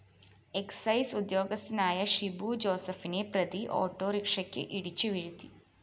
excise ഉദ്യോഗസ്ഥനായ ഷിബു ജോസഫിനെ പ്രതി ഓട്ടോറിക്ഷയ്ക്ക് ഇടിച്ചു വീഴ്ത്തി